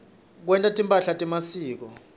kwenta timphahla temasiko